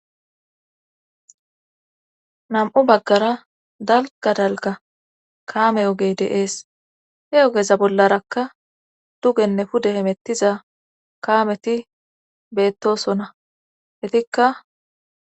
nam7u baggara dalga dalga kaame ogey deees he ogeza bollarakka dugenne pude hemettiza kaameti beettosonna hetikka